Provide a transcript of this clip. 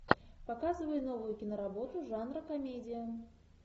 показывай новую киноработу жанра комедия